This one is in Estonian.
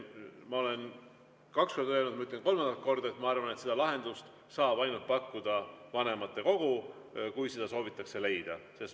Ma olen kaks korda öelnud ja ütlen kolmandat korda: ma arvan, et seda lahendust saab pakkuda ainult vanematekogu, kui seda soovitakse leida.